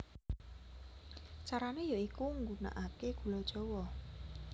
Carane ya iku nggunakake gula jawa